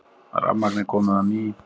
Rafmagnið komið á ný